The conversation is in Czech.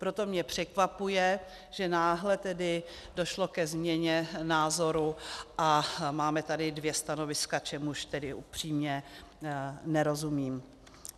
Proto mě překvapuje, že náhle tedy došlo ke změně názoru a máme tady dvě stanoviska, čemuž tedy upřímně nerozumím.